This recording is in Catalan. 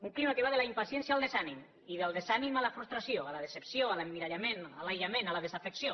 un clima que va de la impaciència al desànim i del desànim a la frustració a la decepció a l’emmirallament a l’aïllament a la desafecció